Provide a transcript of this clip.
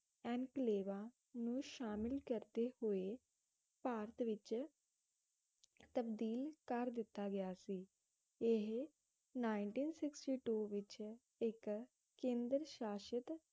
ਇੰਕਲੇਵਾ ਨੂੰ ਸ਼ਾਮਿਲ ਕਰਦੇ ਹੋਏ ਭਾਰਤ ਵਿਚ ਤਬਦੀਲ ਕਰ ਦਿੱਤਾ ਗਿਆ ਸੀ ਇਹ ninteen sixty two ਵਿਚ ਇੱਕ ਕੇਂਦਰ ਸ਼ਾਸ਼ਤ